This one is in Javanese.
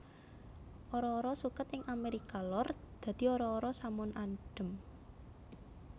Ara ara suket ing Amérika Lor dadi ara ara samun adhem